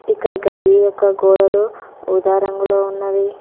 ఇక్కడ గది యొక్క గోడలు ఊదా రంగులో ఉన్నవి.